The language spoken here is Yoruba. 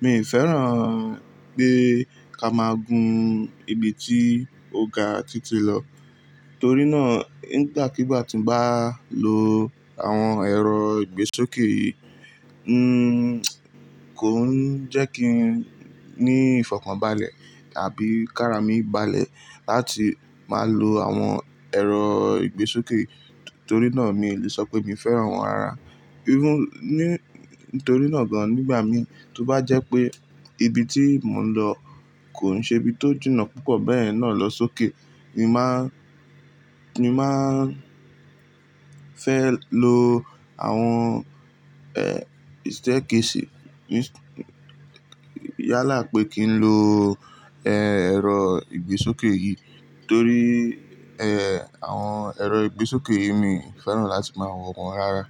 mi ò fẹ́ràn pé ká máa gun ibi tí ọ̀gá ti ti lọ. Torí náà nígbàkigbà tí n bá lo àwọn ẹ̀rọ ìgbésókè yìí, n kò ń jẹ́ kí n ní ìfọ̀kànbalẹ̀ tàbí kára mi balẹ̀ láti máa lo àwọn ẹ̀rọ ìgbésókè yìí. Torí náà mi ò lè sọ pé mi fẹ́ràn wọ́n rárá. Irú ní, nitorí náà gan nígbà mí tí ó bá jẹ́ pé ibi tí mò ń lọ kò ń ṣe ibi tó jìnà púpọ̀ bẹ́ẹ̀ náà lọ sókè, mi máa, mi máa fẹ́ lo àwọn, ẹ́ẹ́, staircase Yálà pé kí n lo, ẹ́ẹ́, ẹ̀rọ ìgbésókè yìí torí, ẹ́ẹ́, àwọn ẹ̀rọ ìgbésókè yìí mi ò fẹ́ràn láti máa wọ́n rárá.